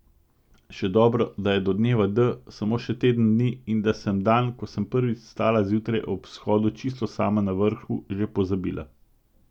Še dobro, da je do dneva D samo še teden dni in da sem dan, ko sem prvič stala zjutraj ob vzhodu čisto sama na vrhu, že pozabila.